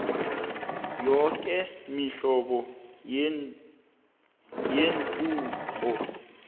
yoke imihlobo yenturhu